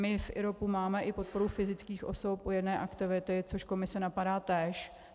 My v IROPu máme i podporu fyzických osob u jedné aktivity, což Komise napadá též.